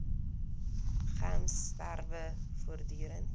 gems strewe voortdurend